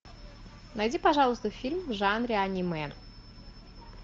найди пожалуйста фильм в жанре аниме